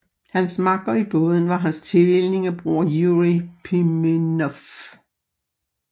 Hans makker i båden var hans tvillingebror Jurij Pimenov